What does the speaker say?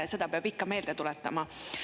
Seda peab ikka meelde tuletama.